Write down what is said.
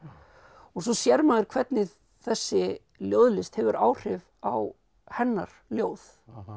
og svo sér maður hvernig þessi ljóðlist hefur áhrif á hennar ljóð